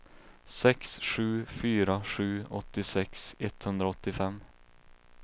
sex sju fyra sju åttiosex etthundraåttiofem